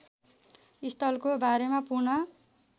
स्थलको बारेमा पूर्ण